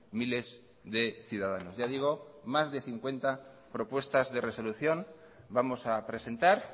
miles de ciudadanos ya digo más de cincuenta propuestas de resolución vamos a presentar